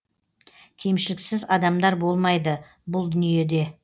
кемшіліксіз адамдар болмайды бұл дүниеде